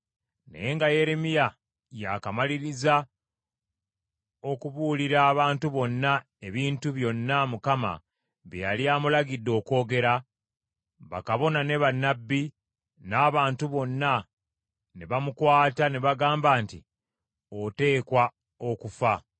Naye nga Yeremiya ya kamaliriza okubuulira abantu bonna ebintu byonna Mukama bye yali amulagidde okwogera, bakabona ne bannabbi, n’abantu bonna ne bamukwata ne bagamba nti, “Oteekwa okufa!